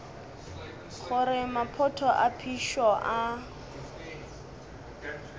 gore maphoto a phišo a